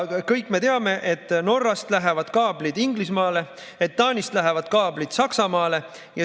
Kõik me teame, et Norrast lähevad kaablid Inglismaale, Taanist lähevad kaablid Saksamaale.